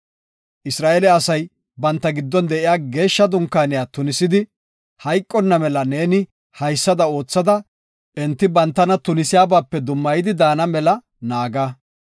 “Isra7eele asay banta giddon de7iya Geeshsha Dunkaaniya tunisidi, hayqonna mela neeni haysada oothada enti bantana tunisiyabape dummayidi daana mela naaga.”